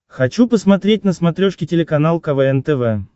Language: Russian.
хочу посмотреть на смотрешке телеканал квн тв